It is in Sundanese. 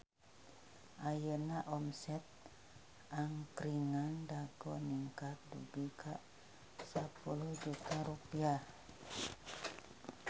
Ayeuna omset Angkringan Dago ningkat dugi ka 10 juta rupiah